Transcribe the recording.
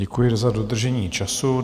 Děkuji za dodržení času.